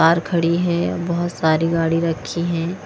बाहर खड़ी है बहुत सारी गाड़ी रखी हैं।